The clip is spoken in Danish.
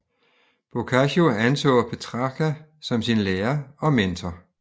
Boccaccio anså Petrarca som sin lærer og mentor